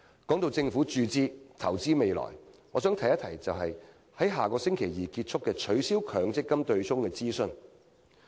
談到政府注資及投資未來，我想提一提將於下星期二結束的"取消強積金對沖"諮詢。